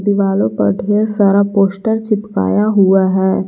दीवालो पर ढेर सारा पोस्टर चिपकाया हुआ है।